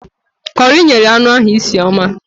Kọri nyere anụ ahụ isi ọma